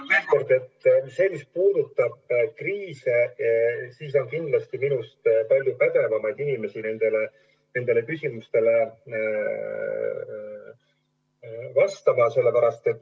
Veel kord: mis puudutab kriise, siis on kindlasti minust palju pädevamaid inimesi nendele küsimustele vastama.